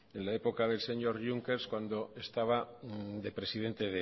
en la época del señor juncker cuando estaba de presidente